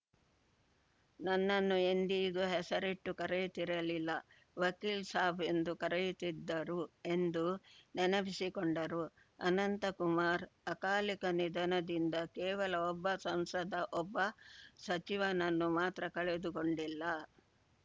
ನನ್ನನ್ನು ಎಂದಿಗೂ ಹೆಸರಿಟ್ಟು ಕರೆಯುತ್ತಿರಲಿಲ್ಲ ವಕೀಲ್‌ ಸಾಬ್‌ ಎಂದು ಕರೆಯುತ್ತಿದ್ದರು ಎಂದು ನೆನಪಿಸಿಕೊಂಡರು ಅನಂತಕುಮಾರ್‌ ಅಕಾಲಿಕ ನಿಧನದಿಂದ ಕೇವಲ ಒಬ್ಬ ಸಂಸದ ಒಬ್ಬ ಸಚಿವನನ್ನು ಮಾತ್ರ ಕಳೆದುಕೊಂಡಿಲ್ಲ